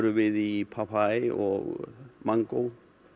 við í papaya og mangó